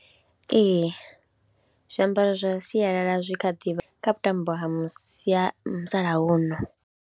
Ee zwiambaro zwa sialala zwi kha ḓivha kha vhuṱambo ha mu sia, ha musalauno.